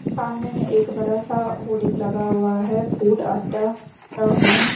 सामने में एक बड़ा सा होर्डिंग लगा हुआ है फूड अड्डा दा होम --